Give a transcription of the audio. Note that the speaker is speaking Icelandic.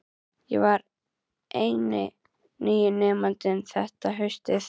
Ég var eini nýi nemandinn þetta haustið.